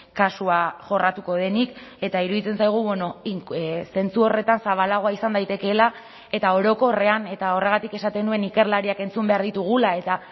kasua jorratuko denik eta iruditzen zaigu zentzu horretan zabalagoa izan daitekeela eta orokorrean eta horregatik esaten nuen ikerlariak entzun behar ditugula eta